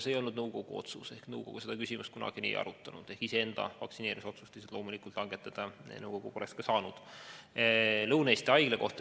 See ei olnud nõukogu otsus, nõukogu seda küsimust kunagi nii ei arutanud, iseenda vaktsineerimise otsust loomulikult poleks nõukogu langetada saanud.